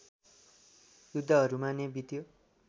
युद्धहरूमा नै बित्यो